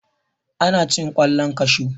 ana cin kwallon kashu